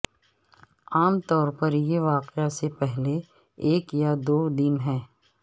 عام طور پر یہ واقعہ سے پہلے ایک یا دو دن ہے